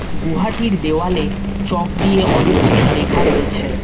গুহাটির দেওয়ালে চক দিয়ে অনেক কিছু লেখা রয়েছে।